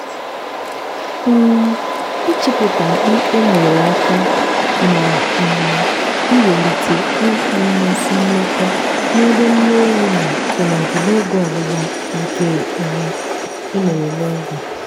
um ịchịpụta mkpi e nwere aka n' um iwelite inwe mmasị mmekọ n'ebe nne ewu nọ tụmadị n'oge ọgbụgba nke um emere n'oge.